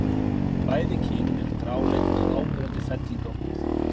Bæði kynin eru gráleit með áberandi fellingum á húð.